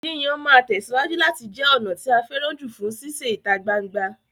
Yíyàn máa tẹ̀síwájú láti jẹ ọ̀nà tí a fẹ́ràn jù fún sísè ìta gbangba